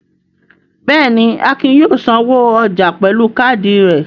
Bẹ́ẹ̀ ni, Akin yóò sanwó ọjà pẹ̀lú káádì rẹ̀.